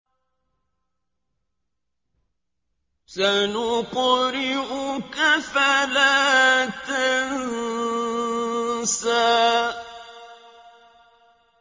سَنُقْرِئُكَ فَلَا تَنسَىٰ